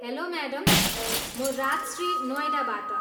Hello madam, म राजश्री नोएडाबाट।